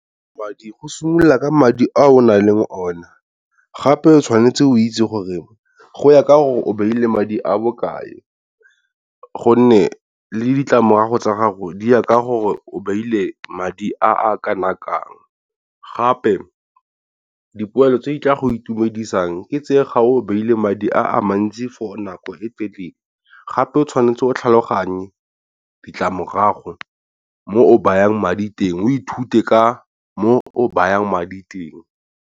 Madi go simolola ka madi a o nale mo ona gape tshwanetse o itse gore go ya ka gore o beile madi a bokae, gonne le ditlamorago tsa gago di ya ka gore o beile madi a a kanakang. Gape dipoelo tse di tla go itumedisang ke tseye ga o baile madi a mantsi for nako e telele gape o tshwanetse o tlhaloganye ditlamorago mo o bayang madi teng o ithute ka moo o bayang madi teng.